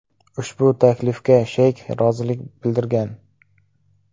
Ushbu taklifga Sheyk rozilik bildirgan.